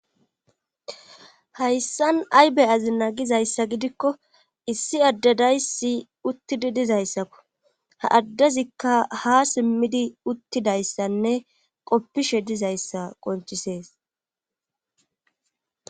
Hayssan aybe azi naagizayssa gidikko issi addedaysi uttidi dizayssakko. Ha addezikka ha simmidi uttidayssanne qoppishe dizayssa qoncisees.